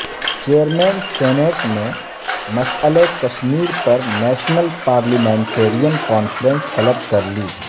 chairman senate نے مسئلہ کشمیر پر نیشنل پارلیمنٹرین کانفرنس طلب کرلی